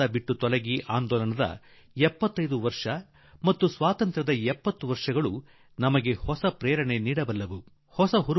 ಭಾರತ ಬಿಟ್ಟು ತೊಲಗಿ ಚಳವಳಿಯ 75 ವರ್ಷ ಮತ್ತು ಭಾರತದ ಸ್ವಾತಂತ್ರ್ಯದ 70 ವರ್ಷ ನಮಗೆ ನೂತನ ಪ್ರೇರಣೆ ನೀಡಬಲ್ಲುದಾಗಿದೆ